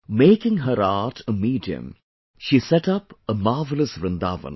Making her art a medium, she set up a marvelous Vrindavan